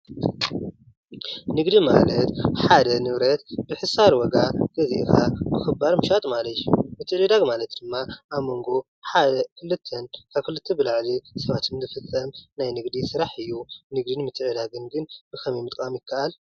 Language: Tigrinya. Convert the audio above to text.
ንግዲ ማለት ሓደ ንብረት ብሕሳር ዋጋ ገዚእኻ ብኽባር ምሻጥ ማለት እዩ፡፡ ምትዕድዳግ ማለት ድማ ኣብ መንጎ ሓደን ክልተን ካብ ክልተ ብላዕሊ ሰባት ዝፍጠር ናይ ንግዲ ስራሕ እዩ፡፡ ንግድን ምትዕድዳግ ግን ብኸመይ ምጥቃም ይካኣል?